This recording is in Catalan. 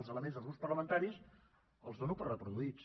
els elements dels grups parlamentaris els dono per reproduïts